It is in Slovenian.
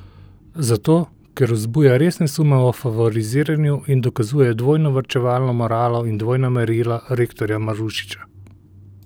Zato, ker vzbuja resne sume o favoriziranju in dokazuje dvojno varčevalno moralo in dvojna merila rektorja Marušiča.